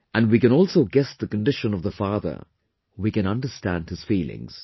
and we can also guess the condition of the father, we can understand his feelings